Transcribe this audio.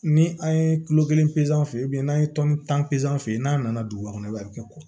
Ni an ye kulo kelen peze n'an ye tɔni tan pezan fɛ n'a nana duguba kɔnɔ i b'a kɛ kɔ